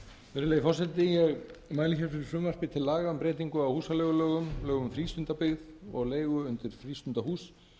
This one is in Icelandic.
virðulegi forseti ég mæli fyrir frumvarpi til laga um breytingu á húsaleigulögum lögum um frístundabyggð og leigu undir frístundahús